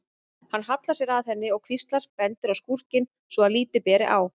Hann hallar sér að henni og hvíslar, bendir á skúrkinn svo að lítið ber á.